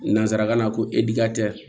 Nanzarakan na ko